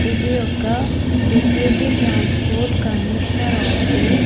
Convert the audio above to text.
ఇది ఒక deputy transport commissioner office .